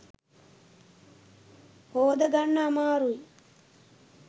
හෝදගන්න අමාරුයි.